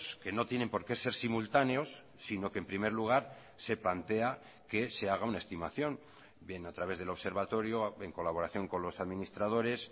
que no tienen por qué ser simultáneos sino que en primer lugar se plantea que se haga una estimación bien a través del observatorio en colaboración con los administradores